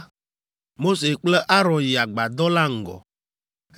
Mose kple Aron yi agbadɔ la ŋgɔ,